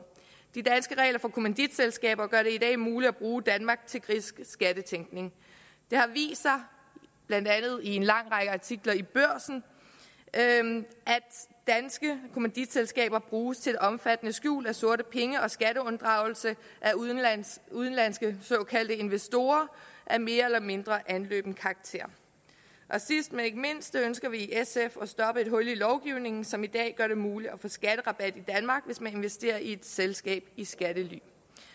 de danske regler for kommanditselskaber gør det i dag muligt at bruge danmark til grisk skattetænkning det har vist sig blandt andet i en lang række artikler i børsen at danske kommanditselskaber bruges til omfattende skjul af sorte penge og skatteunddragelse af udenlandske udenlandske såkaldte investorer af mere eller mindre anløben karakter sidst men ikke mindst ønsker vi i sf at stoppe et hul i lovgivningen som i dag gør det muligt at få skatterabat i danmark hvis man investerer i et selskab i skattely